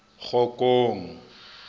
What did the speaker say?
kgokong